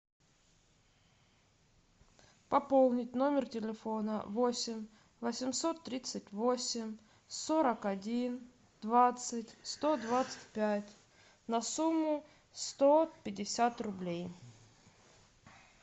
пополнить номер телефона восемь восемьсот тридцать восемь сорок один двадцать сто двадцать пять на сумму сто пятьдесят рублей